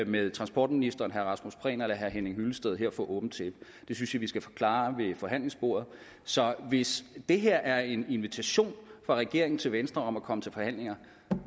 med transportministeren herre rasmus prehn eller herre henning hyllested her for åbent tæppe det synes jeg vi skal få klaret ved forhandlingsbordet så hvis det her er en invitation fra regeringen til venstre om at komme til forhandlinger